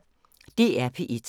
DR P1